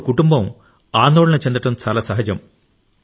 అప్పుడు కుటుంబం ఆందోళన చెందడం చాలా సహజం